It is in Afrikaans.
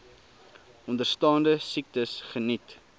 onderstaande siektes geniet